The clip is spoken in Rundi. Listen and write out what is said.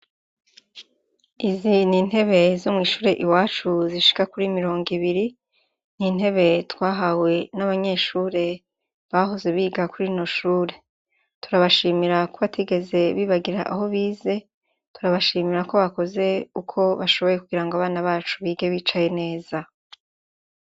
Ehe n'intebe zo mw'ishure iwacu zishika kuri mirongo ibiri, intebe twahawe n'abanyeshure bahoze biga kuri rino shure. Turabashimira ko batigeze bibagira aho bize, turabashimira ko bakoze uko bashoboye kugirango abana bacu bige bicaye neza.